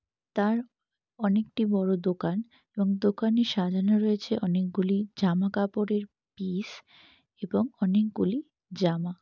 তার অনেক টি বড়ো দোকান এবং দোকানে সাজানো রয়েছে অনেক গুলি জামা কাপড়ের পিস এবং অনেক গুলি জামা।